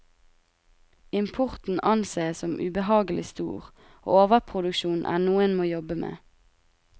Importen anses som ubehagelig stor, og overproduksjon er noe en må jobbe med.